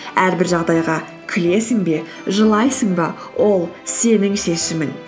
әрбір жағдайға күлесің бе жылайсың ба ол сенің шешімің